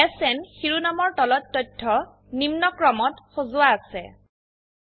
SN শিৰোনামৰ তলত তথ্য নিম্নক্ৰমত সজোৱা আছে160